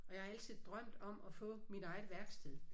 Og jeg har altid drømt om at få mit eget værksted